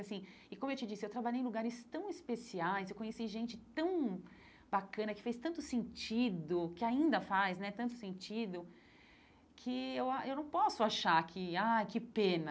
E assim, como eu te disse, eu trabalhei em lugares tão especiais, eu conheci gente tão bacana, que fez tanto sentido, que ainda faz né tanto sentido, que eu a eu não posso achar que, ai, que pena.